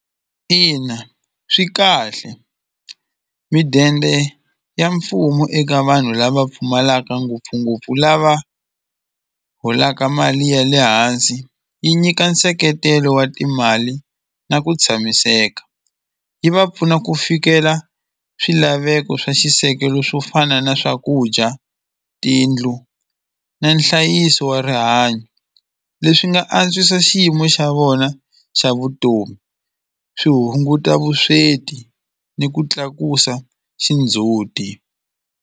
Ina swi kahle midende ya mfumo eka vanhu lava pfumalaka ngopfungopfu lava holaka mali ya le hansi yi nyika nseketelo wa timali na ku tshamiseka yi va pfuna ku fikela swilaveko swa xisekelo swo fana na swakudya tiyindlu na nhlayiso wa rihanyo leswi nga antswisa xiyimo xa vona xa vutomi swi hunguta vusweti ni ku tlakusa xindzhuti.